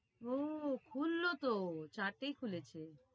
ও খুললো তো চারটেই খুলেছে।